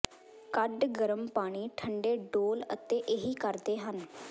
ਕੱਢ ਗਰਮ ਪਾਣੀ ਠੰਡੇ ਡੋਲ੍ਹ ਅਤੇ ਇਹੀ ਕਰਦੇ ਹਨ